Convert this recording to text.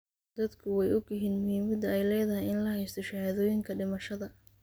Dadku way ogyihiin muhiimadda ay leedahay in la haysto shahaadooyinka dhimashada.